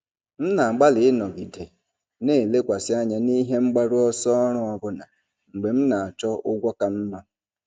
M na-agbalị ịnọgide na-elekwasị anya n'ihe mgbaru ọsọ ọrụ ọbụna mgbe m na-achọ ụgwọ ka mma.